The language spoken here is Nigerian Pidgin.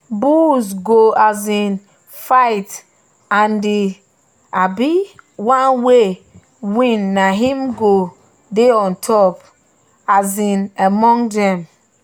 bulls go um fight and the um one wey win na him go dey top um among them.